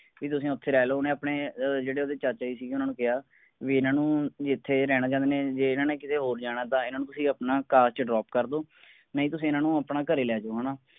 ਵੀ ਤੁਸੀਂ ਓਥੇ ਰਹਿ ਲਓ ਓਹਨੇ ਆਪਣੇ ਅਹ ਜਿਹੜੇ ਓਹਦੇ ਚਾਚਾ ਜੀ ਸੀਗੇ ਉਹਨਾਂ ਨੂੰ ਕਿਹਾ ਵੀ ਇਹਨਾਂ ਨੂੰ ਇਥੇ ਰਹਿਣਾ ਚਾਂਦੇ ਨੇ ਜਾ ਏਨਾ ਨੇ ਕੀਤੇ ਹੋਰ ਜਾਣਾ ਤਾਂ ਇਹਨਾਂ ਤੁਸੀਂ ਆਪਣਾ car ਚ drop ਕਰ ਦਵੋ ਨਹੀਂ ਤੁਸੀਂ ਇਹਨਾਂ ਨੂੰ ਆਪਣੇ ਘਰੇ ਲੈ ਜੋ ਹੈਨਾ